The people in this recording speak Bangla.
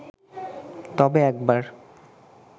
তবে একবার